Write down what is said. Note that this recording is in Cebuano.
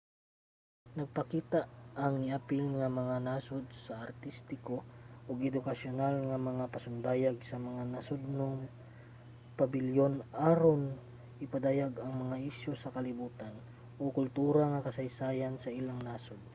nagpakita ang niapil nga mga nasod og artistiko ug edukasyonal nga mga pasundayag sa mga nasodnong pabilyon aron ipadayag ang mga isyu sa kalibotan o kultura ug kasaysayan sa ilang nasod